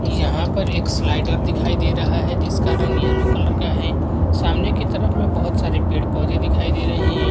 यहाँ पर एक स्लाइडर दिखाई दे रहा है जिसका रंग येलो कलर का है सामने के तरफ बहुत सारे पेड़-पौदे दिखाई दे रहें हैं।